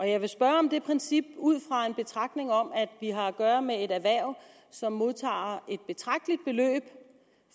jeg vil spørge om det princip ud fra en betragtning om at vi har at gøre med et erhverv som modtager et betragteligt beløb